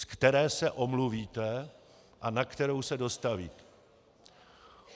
Z které se omluvíte a na kterou se dostavíte?